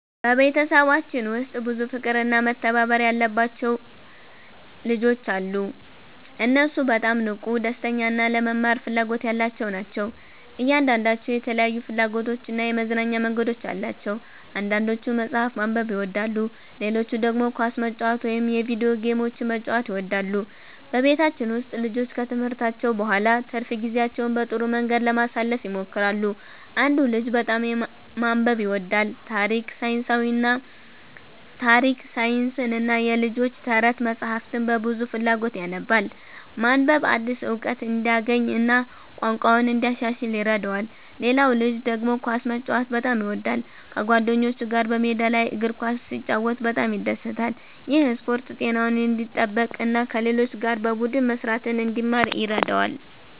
በቤተሰባችን ውስጥ ብዙ ፍቅርና መተባበር ያለባቸው ልጆች አሉ። እነሱ በጣም ንቁ፣ ደስተኛ እና ለመማር ፍላጎት ያላቸው ናቸው። እያንዳንዳቸው የተለያዩ ፍላጎቶችና የመዝናኛ መንገዶች አሏቸው። አንዳንዶቹ መጽሐፍ ማንበብ ይወዳሉ፣ ሌሎቹ ደግሞ ኳስ መጫወት ወይም የቪዲዮ ጌሞችን መጫወት ይወዳሉ። በቤታችን ውስጥ ልጆቹ ከትምህርታቸው በኋላ ትርፍ ጊዜያቸውን በጥሩ መንገድ ለማሳለፍ ይሞክራሉ። አንዱ ልጅ በጣም ማንበብ ይወዳል። ታሪክ፣ ሳይንስና የልጆች ተረት መጻሕፍትን በብዙ ፍላጎት ያነባል። ማንበብ አዲስ እውቀት እንዲያገኝ እና ቋንቋውን እንዲያሻሽል ይረዳዋል። ሌላው ልጅ ደግሞ ኳስ መጫወት በጣም ይወዳል። ከጓደኞቹ ጋር በሜዳ ላይ እግር ኳስ ሲጫወት በጣም ይደሰታል። ይህ ስፖርት ጤናውን እንዲጠብቅ እና ከሌሎች ጋር በቡድን መስራትን እንዲማር ይረዳዋል።